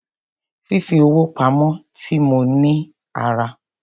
Fífi owó pamo ti mó mi ní ara.